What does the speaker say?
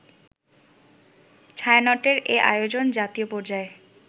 ছায়ানটের এ আয়োজন জাতীয় পর্যায়ে